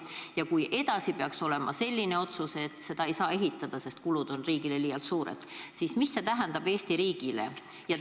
Ja kui edasi peaks otsustatama nii, et seda raudteed ei saa ehitada, sest kulud on riigile liialt suured, siis mida see Eesti riigile tähendab?